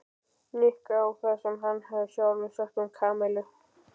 Nikka á það sem hann hafði sjálfur sagt um Kamillu.